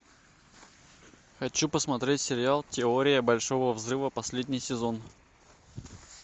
хочу посмотреть сериал теория большого взрыва последний сезон